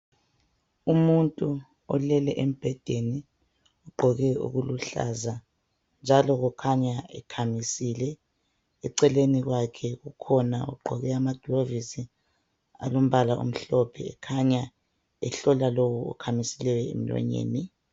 Umuntu olele embhedeni ugqoke okuluhlaza njalo kukhanya ekhamisile eceleni kwakhe kukhona ogqoke amagilovisi alombala omhlophe ekhanya ehlola lowo okhamisileyo emlonyeni .